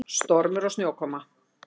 Stormur og snjókoma.